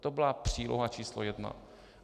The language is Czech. To byla příloha číslo jedna.